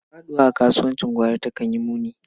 Faɗuwa a kasuwancin gwari takan yi muni.